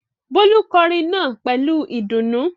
Bólú kọrin náà pẹ̀lú ìdùnnú.